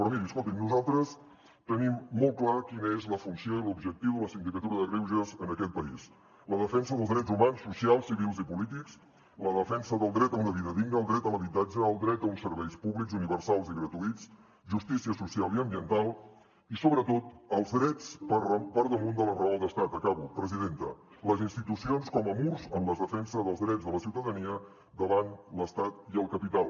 però miri escolti’m nosaltres tenim molt clar quina és la funció i l’objectiu de la sindicatura de greuges en aquest país la defensa dels drets humans socials civils i polítics la defensa del dret a una vida digna el dret a l’habitatge el dret a uns serveis públics universals i gratuïts justícia social i ambiental i sobretot els drets per damunt de la raó d’estat acabo presidenta les institucions com a murs en la defensa dels drets de la ciutadania davant l’estat i el capital